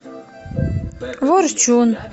ворчун